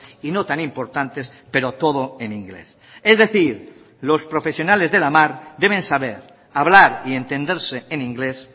y no tan importantes pero todo en inglés es decir los profesionales de la mar deben saber hablar y entenderse en inglés